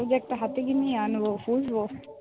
আমিতো একটা হাতি কিনেই আনব, পুষবো।